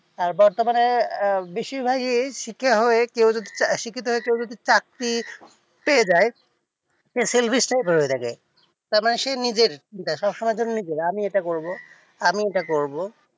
আর বর্তমানে আহ বেশির ভাগই সিকে হয়ে কেউ যদি আহ শিক্ষিত হয়ে কেউ যদি চাকরি পেয়ে যায় সে self established হয়ে থাকে তারমানে সে নিজের দেখা শোনার জন্যে নিজের আমি এটা করবো বলে আমি এইটা করবো আমি এইটা করবো,